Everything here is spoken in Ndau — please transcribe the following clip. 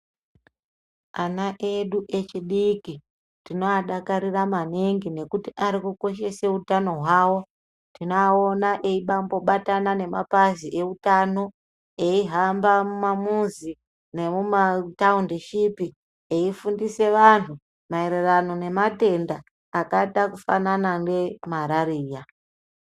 Ana edu echidiki, tinoadakarira maningi, nokuti ari kukeshautano hwavo, tinoaona eyimbabobatana nemapazi eutano, eyi hamba mumamizi nemutawundishipi, eyi fundisa vantu mayererano nematenda akada kufanana nemalariya,